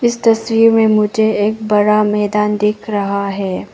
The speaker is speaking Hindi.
इस तस्वीर में मुझे एक बड़ा मैदान दिख रहा है।